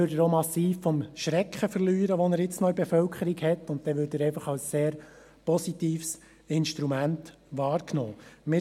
Dann würde er auch massiv an Schrecken verlieren, den er jetzt noch bei der Bevölkerung auslöst, und dann würde er einfach noch als sehr positives Instrument wahrgenommen werden.